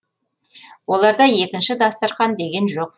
оларда екінші дастарқан деген жоқ